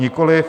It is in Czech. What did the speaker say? Nikoliv.